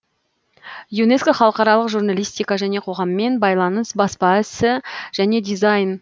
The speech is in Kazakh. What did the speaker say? юнеско халықаралық журналистика және қоғаммен байланыс баспа ісі және дизайн